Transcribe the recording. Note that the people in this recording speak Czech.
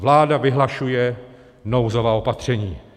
Vláda vyhlašuje nouzová opatření.